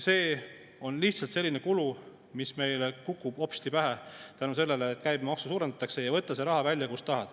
See on lihtsalt selline kulu, mis meile kukub hopsti pähe tänu sellele, et käibemaksu suurendatakse, ja siis võta see raha välja, kust tahad.